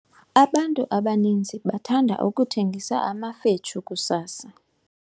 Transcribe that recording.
Abantu abaninzi bathanda ukuthengisa amafetshu kusasa.